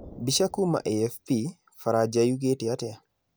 Mbica kuma AFP, Faranja yugĩte atĩa?